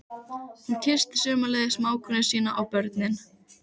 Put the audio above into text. Hún kyssti sömuleiðis mágkonu sína og börnin.